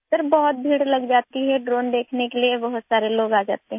sir बहुत भीड़ लग जाती है ड्रोन देखने के लिए बहुत सारे लोग आ जाते हैं